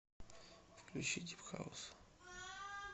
включи дип хаус